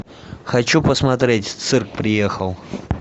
хочу посмотреть цирк приехал